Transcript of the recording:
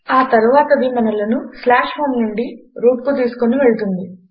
ఆ తరువాతది మనలను home నుండి రూట్ కు తీసుకొని వెళ్తుంది